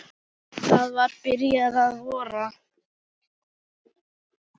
Það var byrjað að vora.